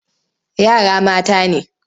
Yara mata ne.